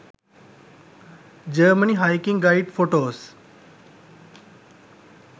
germany hiking guide photos